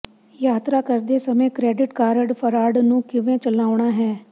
ਯਾਤਰਾ ਕਰਦੇ ਸਮੇਂ ਕ੍ਰੈਡਿਟ ਕਾਰਡ ਫਰਾਡ ਨੂੰ ਕਿਵੇਂ ਚਲਾਉਣਾ ਹੈ